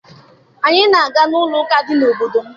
Anyị na-aga n'ụlọụka dị n'obodo m